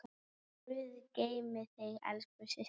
Guð geymi þig elsku systir.